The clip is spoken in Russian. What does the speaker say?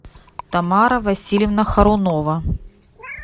тамара васильевна хорунова